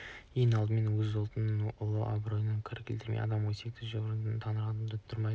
ең алдымен өз ұлтының ұлы абыройына кір келтіреді адам өсектеп жүрген адамының тырнағына датұрмайды